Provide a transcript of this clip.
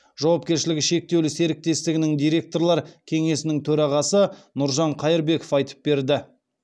жауапкершілігі шектеулі серіктестігінің директорлар кеңесінің төрағасы нұржан қайырбеков айтып берді